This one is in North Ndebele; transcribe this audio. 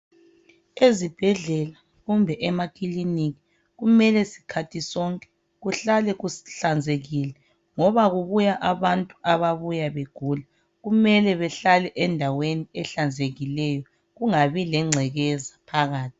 Ezibhedlela kumbe emakiliki kumele sikhathi sonke kuhlale kuhlanzekile. Ngoba kubuya abantu ababuya begula, kumele behlale endaweni ehlanzekileyo kungabi lengcekeza phakathi.